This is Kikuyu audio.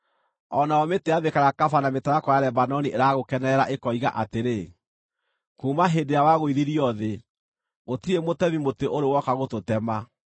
O nayo mĩtĩ ya mĩkarakaba na mĩtarakwa ya Lebanoni ĩragũkenerera, ĩkoiga atĩrĩ: “Kuuma hĩndĩ ĩrĩa wagũithirio thĩ, gũtirĩ mũtemi mĩtĩ ũrĩ woka gũtũtema.”